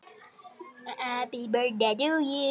Hefurðu ekki verið í gírnum?